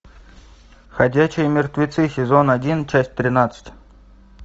ходячие мертвецы сезон один часть тринадцать